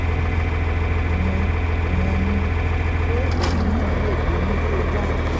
ìyẹn ìyẹn ni pé èmi náà lè bínú tó báyìí